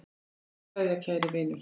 HINSTA KVEÐJA Kæri vinur.